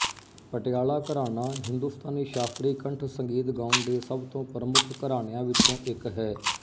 ਪਟਿਆਲਾ ਘਰਾਣਾ ਹਿੰਦੁਸਤਾਨੀ ਸ਼ਾਸਤਰੀ ਕੰਠ ਸੰਗੀਤ ਗਾਉਣ ਦੇ ਸਭ ਤੋਂ ਪ੍ਰਮੁੱਖ ਘਰਾਣਿਆਂ ਵਿੱਚੋਂ ਇੱਕ ਹੈ